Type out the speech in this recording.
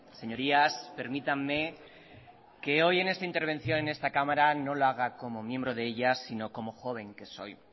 señorías permítanme que hoy en esta intervención en esta cámara no lo haga como miembro de sino como joven que soy